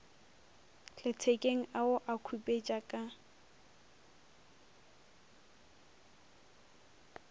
lethekeng a o khupetša ka